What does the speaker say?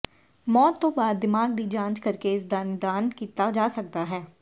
ਮੌਤ ਤੋਂ ਬਾਅਦ ਦਿਮਾਗ ਦੀ ਜਾਂਚ ਕਰਕੇ ਇਸਦਾ ਨਿਦਾਨ ਕੀਤਾ ਜਾ ਸਕਦਾ ਹੈ